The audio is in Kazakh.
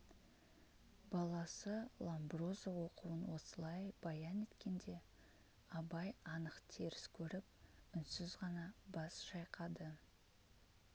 баласы ломброзо оқуын осылай баян еткенде абай анық теріс көріп үнсіз ғана бас шайқады